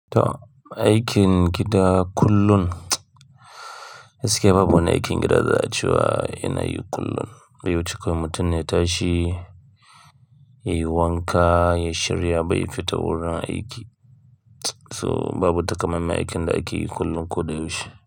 To aikin gida kullum, gaskiya babu wani aikin gida za a cewa yana yi kullum. Baiwuci mutum ya tashi, ya yi wanka, ya shirya ba fita wurin aiki. To babu takamaiman aikin da ake yi kullum ko da yaushe.